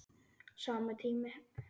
Sami tími.